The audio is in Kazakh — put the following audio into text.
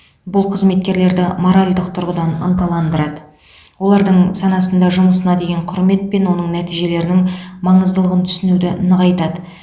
бұл қызметкерлерді моральдық тұрғыдан ынталандырады олардың санасында жұмысына деген құрмет пен оның нәтижелерінің маңыздылығын түсінуді нығайтады